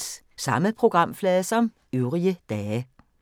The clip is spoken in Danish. Samme programflade som øvrige dage